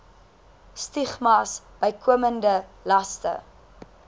stigmas bykomende laste